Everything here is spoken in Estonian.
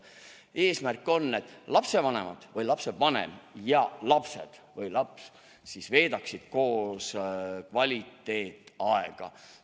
Eesmärk on, et lapsevanemad või lapsevanem ja lapsed või laps veedaksid koos kvaliteetaega.